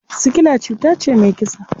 Sikila cuta ce mai kisa.